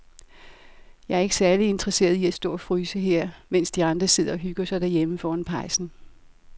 Jeg er ikke særlig interesseret i at stå og fryse her, mens de andre sidder og hygger sig derhjemme foran pejsen.